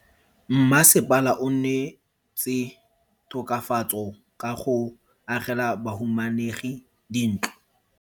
Mmasepala o neetse tokafatso ka go agela bahumanegi dintlo.